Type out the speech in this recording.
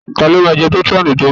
Ta ló máa jẹ pétrọ́ọ̀nù tí ń bọ̀?